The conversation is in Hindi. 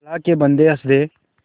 अल्लाह के बन्दे हंस दे